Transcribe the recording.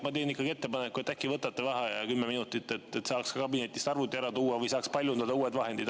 Ma teen ikkagi ettepaneku, et äkki võtate vaheaja kümme minutit, et saaks kabinetist arvuti ära tuua või saaks paljundada uued tabelid.